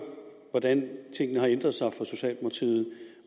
hvordan tingene har ændret sig